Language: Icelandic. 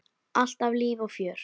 Alltaf líf og fjör.